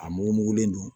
A mugu mugulen don